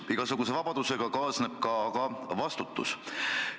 Aga igasuguse vabadusega kaasneb ka vastutus.